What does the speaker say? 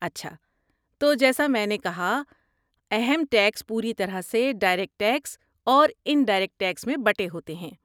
اچھا، تو جیسا میں نے کہا، اہم ٹیکس پوری طرح سے ڈائریکٹ ٹیکس اور انڈائریکٹ ٹیکس میں بٹے ہوئے ہیں۔